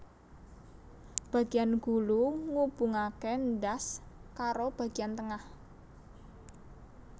Bagiyan gulu ngubungake ndas karo bagiyan tengah